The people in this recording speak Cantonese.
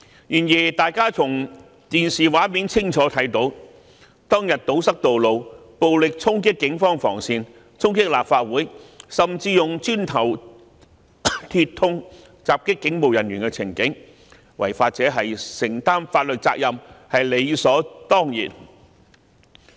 然而，大家從電視畫面清楚看到，當天堵塞道路、暴力衝擊警方防線、衝擊立法會，甚至用磚頭、鐵通襲擊警務人員的情景，違法者承擔法律責任是理所當然的。